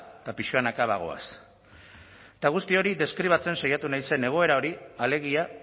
eta pixkanaka bagoaz eta guzti hori deskribatzen saiatu naizen egoera hori alegia